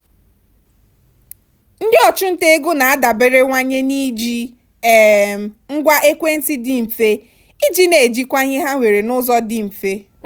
ndị ọchụnta ego na-adaberewanye na-iji um ngwa ekwentị dị mfe iji na-ejikwa ihe ha nwere n'ụzọ dị mfe.